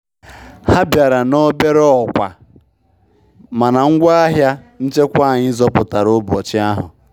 Ha bịara na obere ọkwa, mana ngwa ahịa nchekwa anyị zọpụtara ụbọchị ahụ.